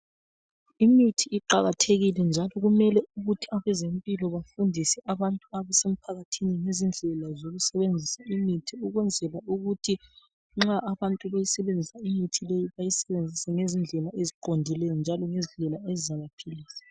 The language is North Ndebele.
Imithi iqakathekile njalo kumele ukuthi abezempilakahle bafundise abantu abase mphakathini ngezindlela zokusebenzisa imithi ukwenzela ukuthi nxa abantu beyisebenzisa imithi leyi bayisebenzise ngezindlela eziqondileyo njalo ngezindlela ezizabaphilisa.